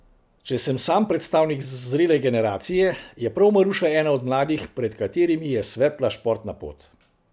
Če sem sam predstavnik zrele generacije, je prav Maruša ena od mladih, pred katerimi je svetla športna pot.